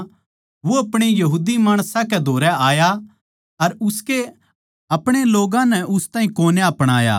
वो अपणे माणसां कै धोरै आया अर उसके अपणे लोग्गां नै उस ताहीं कोन्या अपणाया